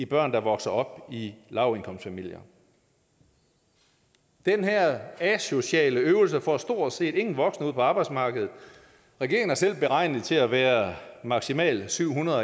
børn der vokser op i lavindkomstfamilier den her asociale øvelse får stort set ingen voksne ud på arbejdsmarkedet regeringen har selv beregnet det til at være maksimalt syv hundrede